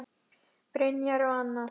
Brynjar og Anna.